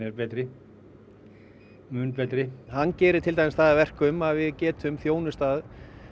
betri mun betri hann gerir það til dæmis að verkum að við getum þjónustað